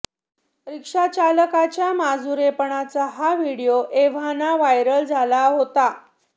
रिक्षाचालकाच्या मुजोरपणाचा हा व्हिडिओ एव्हाना व्हायरल झाला होता